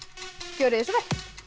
gjörið þið svo